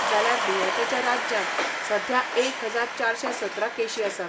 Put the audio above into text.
जाल्यार दुयेंतच्या राज्यांत सध्या एक हजार चारशे सतरा केशी आसात.